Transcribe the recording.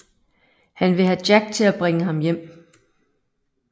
Han vil have Jack til at bringe ham hjem